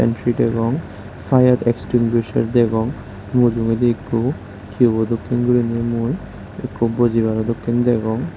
entey degong fire extinguishers degong mujogedi qubo dokkin gorinay mui ekku bojibaro dokkin degong.